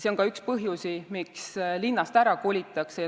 See on ka üks põhjusi, miks linnast ära kolitakse.